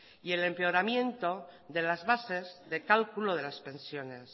y el empeoramiento de las bases de cálculo de las pensiones